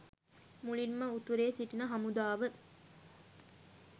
මුලින්ම උතුරේ සිටින හමුදාව